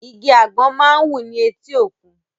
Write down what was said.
Igi àgbọ̀n máa ń wù ni eti òkun